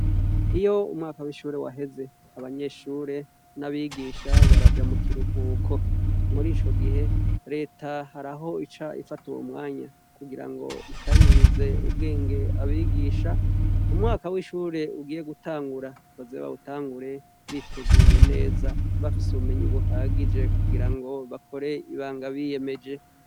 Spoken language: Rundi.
Iyo umwaka w'ishure waheze abanyeshure n'abigisha baraja mu kiruhuko muri ico gihe leta hariaho ica ifata uwo mwanya kugira ngo ikarihirize ubwenge abigisha umwaka w'ishure ugiye gutangura bozeba wutangure biteguye neza bafise ubumenyi buha agije kugira ngo bakore ibanga biyemeje.